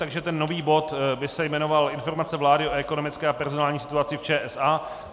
Takže ten nový bod by se jmenoval Informace vlády o ekonomické a personální situaci v ČSA.